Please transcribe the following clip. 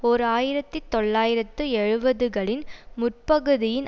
ஓர் ஆயிரத்தி தொள்ளாயிரத்து எழுபதுகளின் முற்பகுதியின்